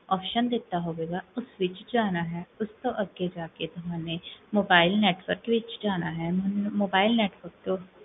option ਦਿੱਤਾ ਹੋਵੇਗਾ, ਉਸ ਵਿੱਚ, ਉਸ ਤੋਂ ਅੱਗੇ ਜਾ ਕੇ ਤੁਹਾਨੂੰ, mobile network ਵਿੱਚ ਜਾਣਾ ਪੈਣਾ ਹੈ